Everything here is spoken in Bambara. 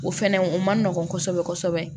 O fɛnɛ o man nɔgɔn kosɛbɛ kosɛbɛ